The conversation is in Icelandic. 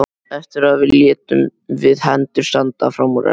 Eftir það létum við hendur standa fram úr ermum.